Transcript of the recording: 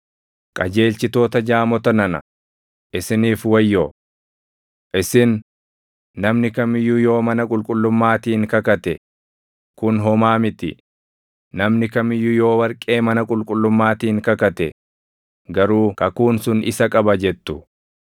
“Qajeelchitoota jaamota nana, isiniif wayyoo! Isin, ‘Namni kam iyyuu yoo mana qulqullummaatiin kakate, kun homaa miti; namni kam iyyuu yoo warqee mana qulqullummaatiin kakate garuu kakuun sun isa qaba’ jettu.